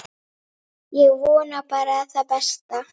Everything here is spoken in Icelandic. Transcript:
Svona vil ég minnast þín.